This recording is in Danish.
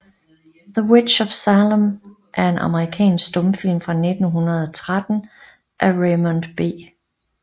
The Witch of Salem er en amerikansk stumfilm fra 1913 af Raymond B